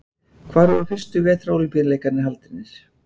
Hvar voru fyrstu vetrarólympíuleikarnir haldnir?